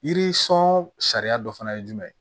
Yiri sɔn sariya dɔ fana ye jumɛn ye